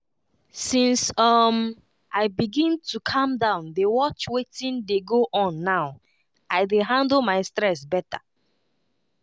since um i begin to calm down dey watch wetin dey go on now i dey handle my stress better.